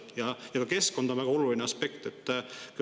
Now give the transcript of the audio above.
Ja ka keskkond on väga oluline aspekt.